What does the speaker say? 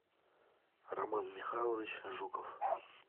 роман михайлович жуков